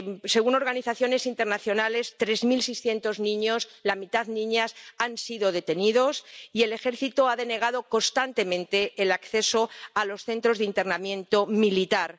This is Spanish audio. Según organizaciones internacionales, tres mil seiscientos niños ⸻la mitad, niñas⸻ han sido detenidos y el ejército ha denegado constantemente el acceso a los centros de internamiento militar.